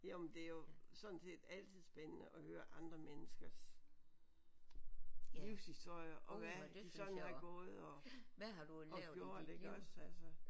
Jo men det er jo sådan set altid spændende at høre andre menneskers livshistorier og hvad de sådan har gået og og gjort iggås altså